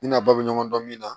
Ne n'a ba bɛ ɲɔgɔn dɔn min na